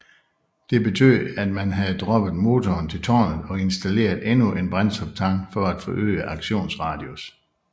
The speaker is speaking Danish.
Det betød at man havde droppet motoren til tårnet og installeret endnu en brændstoftank for at forøge aktionsradius